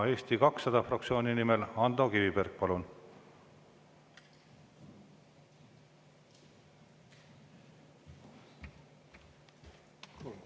Eesti 200 fraktsiooni nimel Ando Kiviberg, palun!